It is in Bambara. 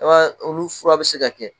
Olu furu bi se ka kɛ